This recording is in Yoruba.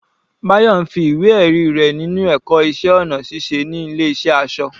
Bayo ń fi ìwé ẹ̀rí rẹ̀ ninu ẹ̀kọ́ iṣẹ́ ọnà ṣiṣẹ́ ní ilé ìṣẹ́ aṣọ.